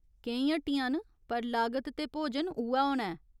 केईं हट्टियां न, पर लागत ते भोजन उ'ऐ होना ऐ।